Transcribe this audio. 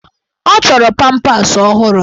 Ọ chọrọ pampas ọhụrụ.